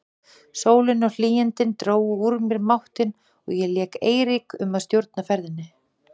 Sólin og hlýindin drógu úr mér máttinn og ég lét Eirík um að stjórna ferðinni.